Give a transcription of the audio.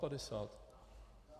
Dvaapadesát?